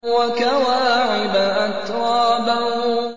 وَكَوَاعِبَ أَتْرَابًا